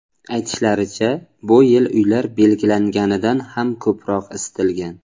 Aytishlaricha, bu yil uylar belgilanganidan ham ko‘proq isitilgan.